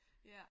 Ja